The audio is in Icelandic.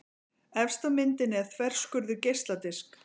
Efst á myndinni er þverskurður geisladisks.